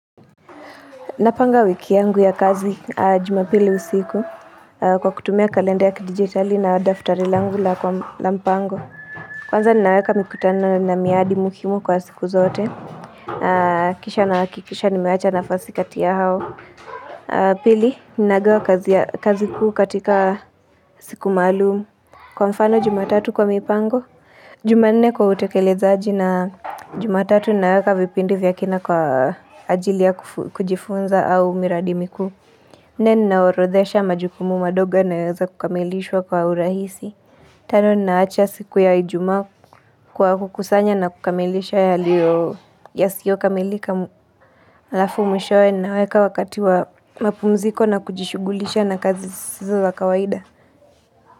Napanga wiki yangu ya kazi jumapili usiku kwa kutumia kalenda ya kidigitali na daftari langu la mpango. Kwanza ninaweka mikutano na miadi muhimu kwa siku zote. Kisha na hakikisha nimeacha nafasi kati ya hao. Pili, ninagawa kazi kuu katika siku maalumu. Kwa mfano jumatatu kwa mipango. Jumane kwa utekelezaji na jumatatu naweka vipindi vyakina kwa ajili ya kujifunza au miradi mikuu. Na ninaorodhesha majukumu madogo inayoweza kukamilishwa kwa urahisi. Tano ninaacha siku ya ijumaa kwa kukusanya na kukamilisha yaliyo yasiyokamilika. Lafu mishowe naweka wakati wa mapumziko na kujishugulisha na kazi zisizo za kawaida.